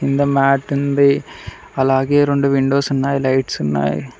కింద మ్యాట్ ఉంది అలాగే రెండు విండోస్ ఉన్నాయి లైట్స్ ఉన్నాయి.